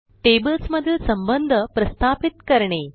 tables मधील संबंध प्रस्थापित करणे